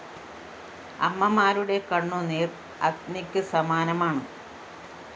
അമ്മമാരുടെ കണ്ണുനീര്‍ അഗ്നിക്ക് സമാനമാണ്